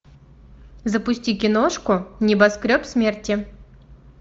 запусти киношку небоскреб смерти